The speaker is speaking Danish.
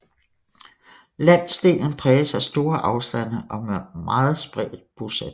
Landsdelen præges af store afstande og meget spredt bosætning